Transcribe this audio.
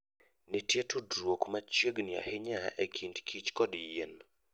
Nitie tudruok machiegni ahinya e kind kich kod yien.